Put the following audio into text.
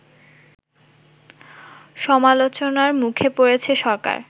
সমালোচনার মুখে পড়েছে সরকার